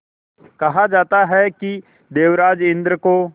कहा जाता है कि देवराज इंद्र को